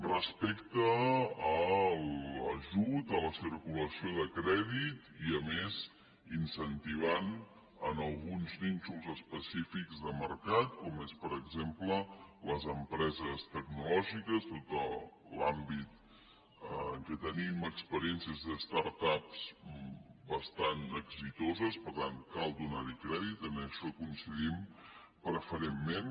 respecte a l’ajut a la circulació de crèdit i a més incentivant alguns nínxols específics de mercat com són per exemple les empreses tecnològiques tot l’àmbit en què tenim experiència de start ups bastant reeixides per tant cal donar hi crèdit en això coincidim preferentment